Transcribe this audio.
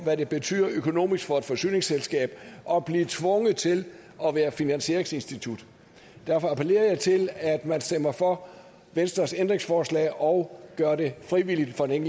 hvad det betyder økonomisk for et forsyningsselskab at blive tvunget til at være finansieringsinstitut derfor appellerer jeg til at man stemmer for venstres ændringsforslag og gør det frivilligt for den